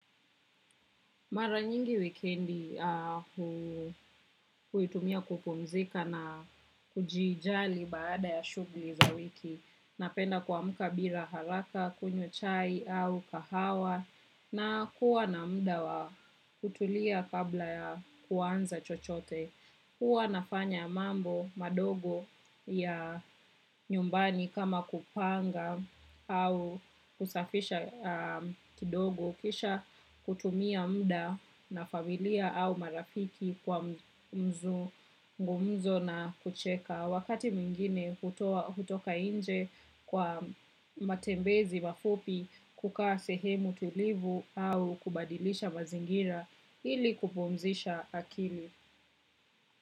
Mara nyingi wikendi huitumia kupumzika na kujijali baada ya shughuli za wiki. Napenda kuamka bila haraka, kunywa chai au kahawa na kuwa na muda wa kutulia kabla ya kuanza chochote. Huwa nafanya mambo madogo ya nyumbani kama kupanga au kusafisha kidogo kisha kutumia muda na familia au marafiki kwa mzungumzo na kucheka. Wakati mwingine hutoka nje kwa matembezi mafupi kukaa sehemu tulivu au kubadilisha mazingira ili kupumzisha akili.